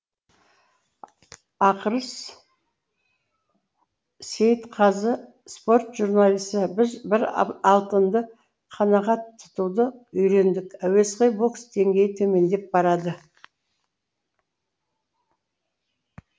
ақырыс сеи ітқазы спорт журналисі біз бір алтынды қанағат тұтуды үи рендік әуесқой бокс деңгейі төмендеп барады